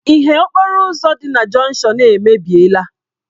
Ìhè okporo ụzọ dị na jọnshọn a emebiela.